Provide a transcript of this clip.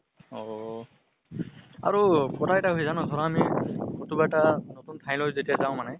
অহ্হ আৰু কথা এটা হয় জানা আমি কতোবা এটা নতুন ঠাইলৈ যেতিয়া যাওঁ মানে